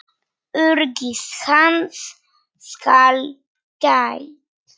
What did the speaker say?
Öryggis hans skal gætt.